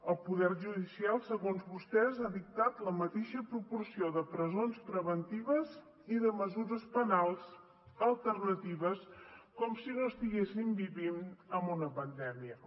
el poder judicial segons vostès ha dictat la mateixa proporció de presons preventives i de mesures penals alternatives com si no estiguéssim vivint en una pandèmia